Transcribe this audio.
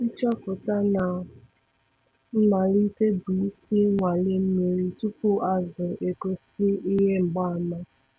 Nchọpụta na mmalite bụ isi - nnwale mmiri tupu azụ egosi ihe mgbaàmà.